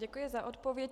Děkuji za odpověď.